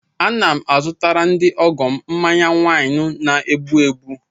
Ana m azụtara ndị ọgọ m mmanya wynu na-egbu egbu.